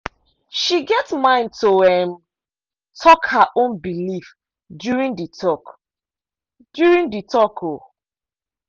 she get mind to um talk her own belief during the talk. during the talk. um